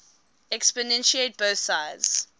exponentiate both sides